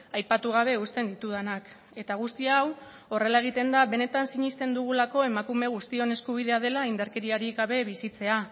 aipatu gabe uzten ditudanak eta guzti hau horrela egiten da benetan sinesten dugulako emakume guztion eskubidea dela indarkeriarik gabe bizitzea